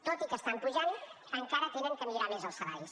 tot i que estan pujant encara han de millorar més els salaris